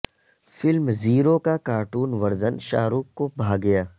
film Zero کا cartoon version Shah Rukh کو بھا گیا